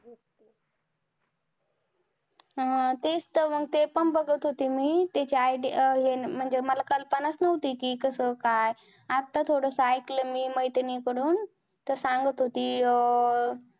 अह तेच तर मग ते पण बघत होते मी तेच ID तेन मला कल्पनाच नव्हती कि कस काय आता थोडास ऐकलं मी मैत्रिणी कडून तर सांगत होती अं